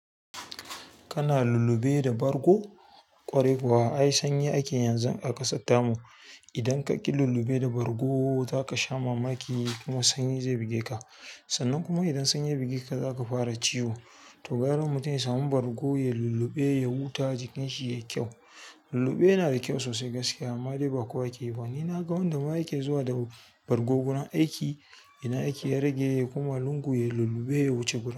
Kana lulluɓe da bargo? Ƙwarai kuwa, ai sanyi ake yanzu a ƙasar tamu. Idan ka ƙi lulluɓe da bargo, za ka sha mamaki kuma sanyi zai buge ka. Sannan kuma idan sanyi buge ka, za ka fara ciwo. To gara mutum ya samu bargo ya lulluɓe ya huta jikin yai kyau. Lulluɓe yana da kyau sosai gaskiya, amma dai ba kowa ke ba. Ni na ga wanda ma yake zuwa da bargo gurin aiki, idan aiki ya rage koma lungu yai lulluɓe ya wuce gurin.